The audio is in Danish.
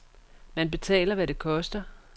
Man betaler, hvad det koster.